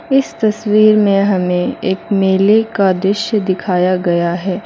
इस तस्वीर में हमें एक मेले का दृश्य दिखाया गया है।